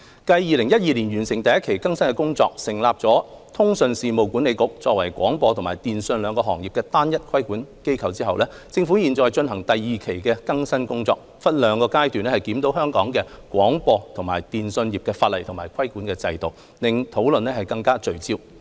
繼2012年完成第一期更新工作，成立通訊事務管理局作為廣播及電訊兩個行業的單一規管機構後，政府現正進行第二期的更新工作，分兩個階段檢討香港廣播及電訊業法例及規管制度，令討論更為聚焦。